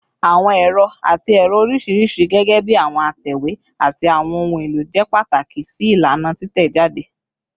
Awọn ero ati ẹrọ oriṣiriṣi, gẹgẹbi awọn atẹwe ati awọn ohun elo, jẹ pataki si ilana titẹjade